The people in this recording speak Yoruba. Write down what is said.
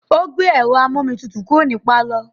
Ó gbé ẹ̀rọ amú-omi tutù kúrò ní pálọ̀.